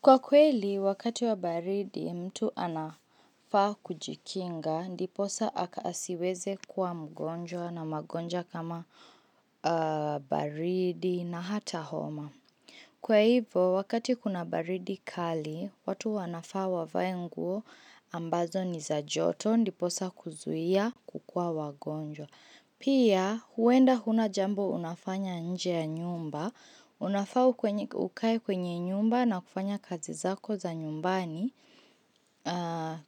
Kwa kweli, wakati wa baridi mtu anafaa kujikinga, ndiposa aka asiweze kuwa mgonjwa na magonjwa kama baridi na hata homa. Kwa hivo, wakati kuna baridi kali, watu wanafaa wavae nguo ambazo ni za joto, ndiposa kuzuia kukua wagonjwa. Pia huenda huna jambo unafanya nje ya nyumba, unafaa ukae kwenye nyumba na kufanya kazi zako za nyumbani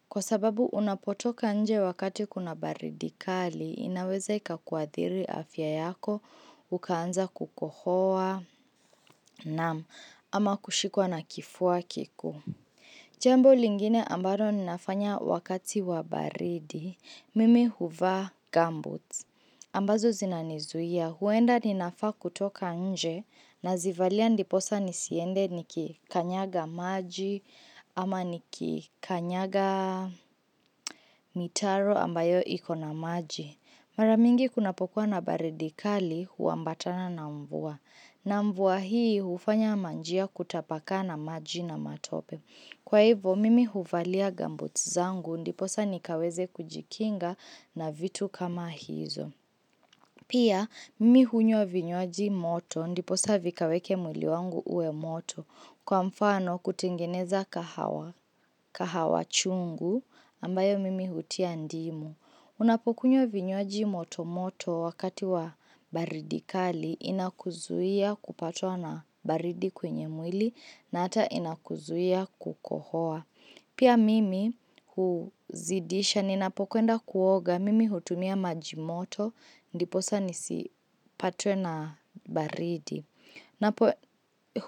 Kwa sababu unapotoka nje wakati kuna baridi kali, inaweza ika kuadhiri afya yako, ukaanza kukohoa, naam, ama kushikwa na kifua kikuu Jambo lingine ambalo ninafanya wakati wa baridi, mimi huvaa gumboots ambazo zinanizuia. Huenda ninafaa kutoka nje nazivalia ndiposa nisiende nikikanyaga maji ama nikikanyaga mitaro ambayo iko na maji. Mara mingi kunapokuwa na baridi kali huambatana na mvua. Na mvua hii hufanya manjia kutapakaa na maji na matope. Kwa hivyo, mimi huvalia gumboots zangu ndiposa nikaweze kujikinga na vitu kama hizo. Pia mimi hunywa vinywaji moto ndiposa vikaweke mwili wangu uwe moto kwa mfano kutengeneza kahawa chungu ambayo mimi hutia ndimu. Unapokunywa vinywaji moto moto wakati wa baridi kali inakuzuia kupatwa na baridi kwenye mwili na hata inakuzuia kukohoa. Pia mimi huzidisha ninapokwenda kuoga, mimi hutumia maji moto, ndiposa nisipatwe na baridi.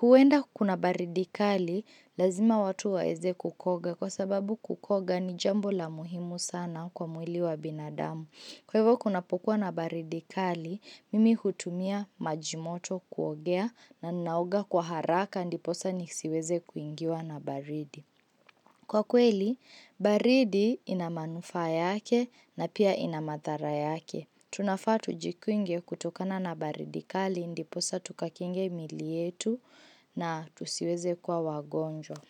Huenda kuna baridi kali, lazima watu waeze kukoga kwa sababu kukoga ni jambo la muhimu sana kwa mwili wa binadamu. Kwa hivyo kunapokuwa na baridi kali, mimi hutumia maji moto kuogea na naoga kwa haraka, ndiposa nisiweze kuingiwa na baridi. Kwa kweli, baridi ina manufaa yake na pia ina madhara yake. Tunafaa tujikinge kutokana na baridi kali ndiposa tukakinge mili yetu na tusiweze kuwa wagonjwa.